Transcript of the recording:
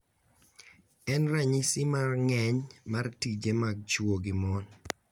En ranyisi mar ng’eny mar tije mag chwo gi mon